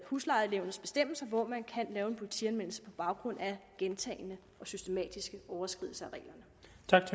huslejenævnets bestemmelser hvor man kan lave en politianmeldelse på baggrund af gentagne og systematiske overtrædelser